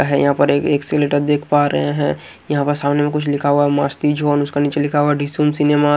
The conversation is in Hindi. है यहाँ पर एक एकसेलेटर देख पा रहे हैं यहाँ पर सामने में कुछ लिखा हुआ है मस्ती जोन उसका नीचे लिखा हुआ है डिसून सिनेमा --